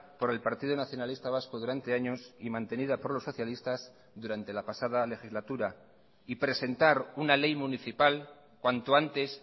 por el partido nacionalista vasco durante años y mantenida por los socialistas durante la pasada legislatura y presentar una ley municipal cuanto antes